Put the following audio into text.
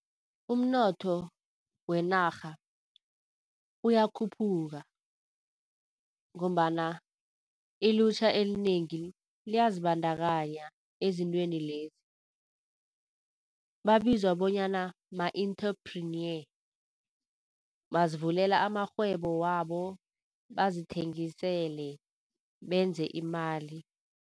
Umnotho wenarha uyakhuphuka ngombana ilutjha elinengi liyazibandakanya ezintweni lezi. Babizwa bonyana ma-enterpreneur bazivulela amarhwebo wabo, bazithengisele benze imali.